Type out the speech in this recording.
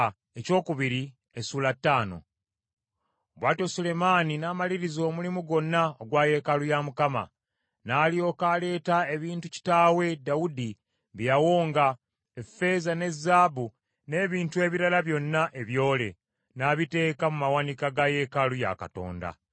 Bw’atyo Sulemaani n’amaliriza omulimu gwonna ogwa yeekaalu ya Mukama . N’alyoka aleeta ebintu kitaawe Dawudi bye yawonga, effeeza ne zaabu n’ebintu ebirala byonna ebyole, n’abiteeka mu mawanika ga yeekaalu ya Katonda.